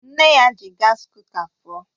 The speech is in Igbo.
Nne ya ji gas kuka pụọ